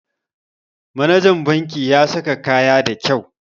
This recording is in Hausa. Manajan banki ya saka kaya da kau